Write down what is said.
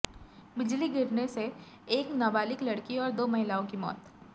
बिजली गिरने से एक नाबालिग लड़की और दो महिलाओं की मौत